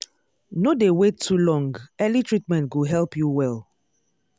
no dey wait too long early treatment go help you well.